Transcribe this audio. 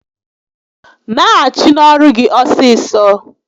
Naghachi n'ọrụ gị ọsịsọ!